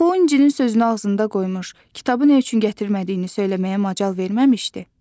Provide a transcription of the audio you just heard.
Axı o İncənin sözünü ağzında qoymuş, kitabı nə üçün gətirmədiyini söyləməyə macal verməmişdi?